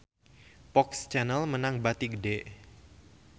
FOX Channel meunang bati gede